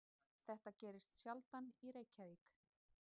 Þetta gerist sjaldan í Reykjavík.